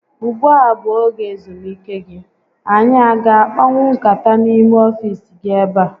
Ugbua a bụ oge ezumike gị? Anyị a ga akpanwu nkata n'ime ọfiisi gi ebe a?